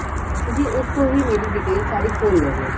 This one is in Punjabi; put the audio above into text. ਤੁਸੀਂ ਉਸ ਤੋਂ ਹੀ ਮੇਰੀ ਸਾਰੀ detail ਖੋਲ ਲਓਗੇ